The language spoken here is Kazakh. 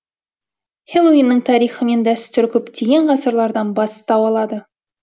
хэллоуиннің тарихы мен дәстүрі көптеген ғасырлардан бастау алады